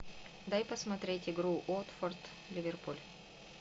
дай посмотреть игру уотфорд ливерпуль